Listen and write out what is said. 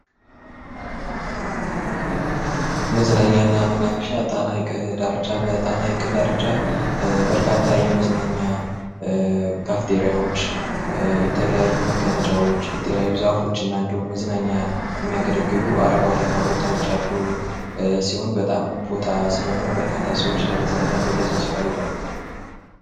ማዝናኛና መናፈሻ በሃይቀ ዳር መካከል የሚገኘው መዝናኛ ክፍት የተለያዩ መቀመጫ ቦታዎች፣ ዛፎች እና መዝናኛ አረንጓዴ ቦታዎች በጣም በርካታ ሰዎችም ለመዝናናት እዛ ቦታ ይሄዳሉ፡፡